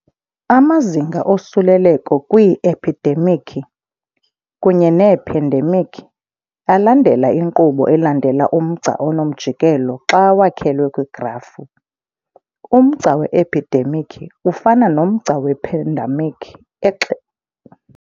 Amazinga osuleleko kwii-ephidemikhi, kunye neephandemikhi, alandela inkqubo elandela umgca onomjikelo xa wakhelwe kwigrafu. Umgca we-ephidemikhi ufana nomgca wephandemikhi